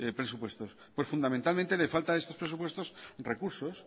presupuestos fundamentalmente le falta a estos presupuestos recursos